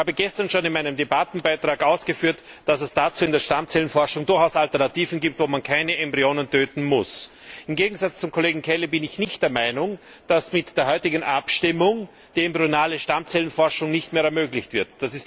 Ich habe gestern schon in meinem Debattenbeitrag ausgeführt, dass es dazu in der Stammzellenforschung durchaus Alternativen gibt, bei denen man keine Embryonen töten muss. Im Gegensatz zum Kollegen Kelly bin ich nicht der Meinung, dass mit der heutigen Abstimmung die embryonale Stammzellenforschung nicht mehr ermöglicht wird.